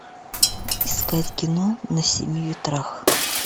искать кино на семи ветрах